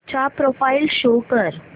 चा profile show कर